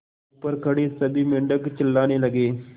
ऊपर खड़े सभी मेढक चिल्लाने लगे